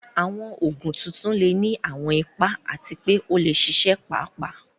Àwọn Ògùn tuntun lè ní àwọn ipa àti pé ó lè ṣiṣẹ́ pàápàá